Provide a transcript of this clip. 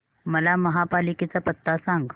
मला महापालिकेचा पत्ता सांग